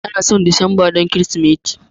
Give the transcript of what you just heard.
An san Disamba don Kirsimeti.